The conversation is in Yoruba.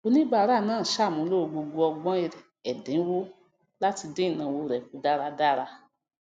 oníbàárà náà ṣàmúlò gbgbo ọgbọn ẹdínwọ láti dín ìnáwó rẹ kù dáradára